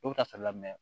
Dɔw bɛ taa sali lamɛ